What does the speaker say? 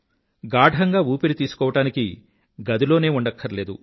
గాఢంగా ఊపిరి తీసుకోవడానికి గదిలోనే ఉండక్కర్లేదు